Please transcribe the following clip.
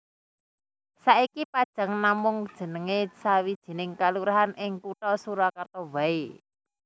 Saiki Pajang namung jenengé sawijining kalurahan ing kutha Surakarta waé